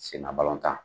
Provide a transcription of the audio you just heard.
Senna balɔntan